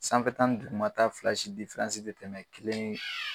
Sanfɛta ni dugumata fila si te tɛmɛ kelen